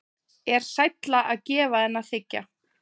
Er sælla að gefa en þiggja?